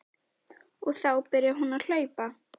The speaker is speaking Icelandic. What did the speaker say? Og þá byrjar hún að hlaupa.